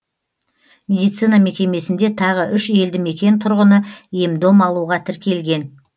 медицина мекемесінде тағы үш елді мекен тұрғыны ем дом алуға тіркелген